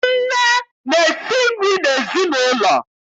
Nne na-esi nri n'ezinụlọ.